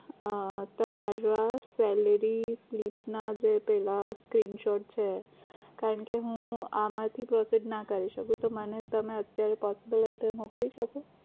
હા તમારા salary slip ના જે પેલા screen shot છે કારણ કે હું આમાંથી process ના કરી શકું તો મને તમે અત્યારે possible હોય તો મોકલી શકો